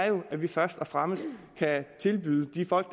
at vi først og fremmest kan tilbyde de folk